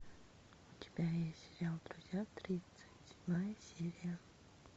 у тебя есть сериал друзья тридцать седьмая серия